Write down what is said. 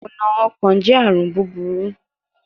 Ikuna ọkan jẹ arun buburu